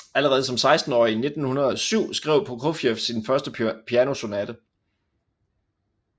Allerede som sekstenårig i 1907 skrev Prokofjev sin første pianosonate